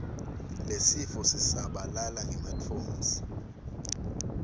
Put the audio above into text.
lesifo sisabalala ngematfonsi